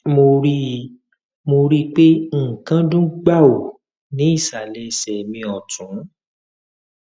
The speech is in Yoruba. mo rí i mo rí i pé nǹkan dún gbàù ní ìsàlẹ ẹsẹ mi ọtún